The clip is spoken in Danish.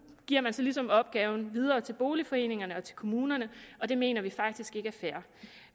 giver man så ligesom opgaven videre til boligforeningerne og til kommunerne og det mener vi faktisk ikke er fair